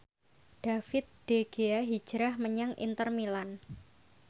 David De Gea hijrah menyang Inter Milan